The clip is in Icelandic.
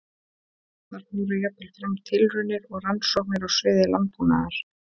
Þar fóru jafnvel fram tilraunir og rannsóknir á sviði landbúnaðar.